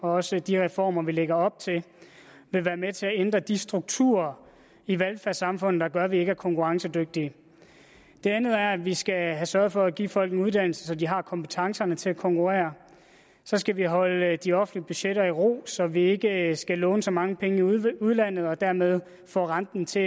og også de reformer vi lægger op til vil være med til at ændre de strukturer i velfærdssamfundet der gør at vi ikke er konkurrencedygtige det andet er at vi skal have sørget for at give folk en uddannelse så de har kompetencerne til at konkurrere så skal vi holde de offentlige budgetter i ro så vi ikke skal låne så mange penge i udlandet og dermed får renten til